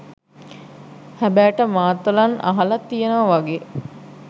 හැබෑට මාතලන් අහලා තියනවා වගේ